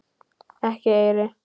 Ekki eyri.